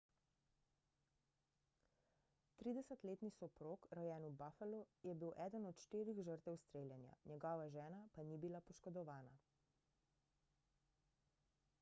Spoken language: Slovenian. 30-letni soprog rojen v buffalu je bil eden od štirih žrtev streljanja njegova žena pa ni bila poškodovana